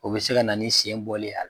O bɛ se ka na ni sen bɔli a l